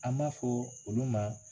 A m'a fɔ olu ma